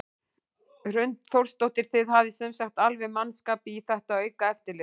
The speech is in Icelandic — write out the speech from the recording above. Hrund Þórsdóttir: Þið hafið sem sagt alveg mannskap í þetta aukna eftirlit?